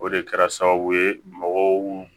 O de kɛra sababu ye mɔgɔw